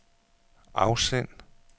afsend